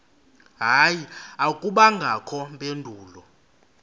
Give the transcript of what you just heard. hayi akubangakho mpendulo